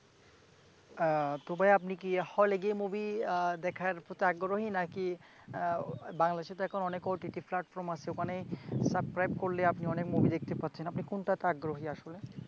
তো ভাই আপনি হলে গিয়ে movie দেখার প্রতি আগ্রহী? নাকি বাংলাদেশেতো অনেক OTT platform আছে, ওখানে subscribe করলে অনেক movie দেখতে পাচ্ছেন, আপনি কোনটাতে আগ্রহী আসেল?